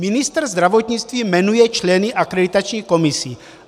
Ministr zdravotnictví jmenuje členy akreditačních komisí.